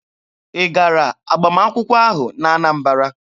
Ị gara agbamakwụkwọ ahụ n'Anambara?